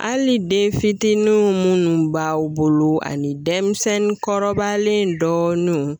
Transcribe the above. Hali den fitininw minnu b'aw bolo ani denmisɛnnin kɔrɔbalen dɔɔnin